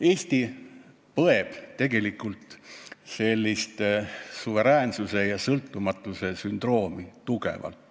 Eesti põeb tegelikult tugevalt suveräänsuse ja sõltumatuse sündroomi.